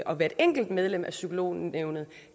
og hvert enkelt medlem af psykolognævnet